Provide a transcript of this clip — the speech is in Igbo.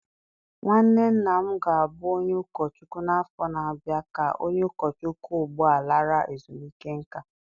Nwanne nna m ga-abụ onye ụkọchukwu n'afọ na-abịa ka onye ụkọchukwu ugbu a lara ezumike nká